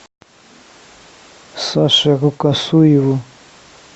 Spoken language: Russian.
саше рукосуеву